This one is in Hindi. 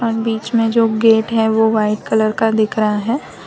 बीच में जो गेट हैं वो व्हाइट कलर का दिख रहा हैं।